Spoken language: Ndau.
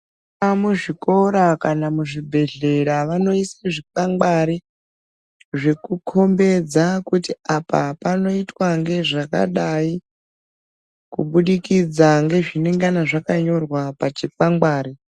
Muzvikora kana muzvibhedhlera vanoisa zvikwangwari zvekukombedza kuti apa panoitwe ngezvakadai kubudikidza ngezvinenge zvakanyorwa pachikwangwari.